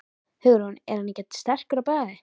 Hugrún: Er hann ekkert sterkur á bragðið?